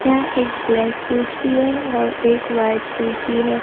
यह एक ब्लैक कुर्सी है और एक वाइट कुर्सी है।